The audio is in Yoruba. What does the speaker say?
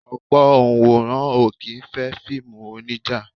Ọ̀pọ̀ Onworan o kì í fẹ́ fíìmù onija.